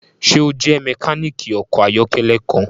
Ṣe o jẹ mekaniki ọkọ ayọkẹlẹ kan?